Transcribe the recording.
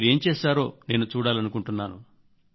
మీరేం చేశారో నేను చూడాలనుకుంటున్నాను